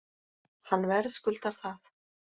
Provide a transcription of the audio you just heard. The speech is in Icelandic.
Hann verðskuldar það